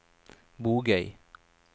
Bogøy